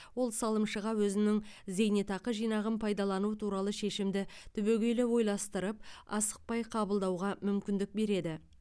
ол салымшыға өзінің зейнетақы жинағын пайдалану туралы шешімді түбегейлі ойластырып асықпай қабылдауға мүмкіндік береді